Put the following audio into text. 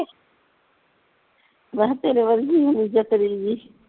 ਮੈਂ ਤੇਰੇ ਵਰਗੀ ਹੋਣੀ ਚਤਰੀ ਜੀ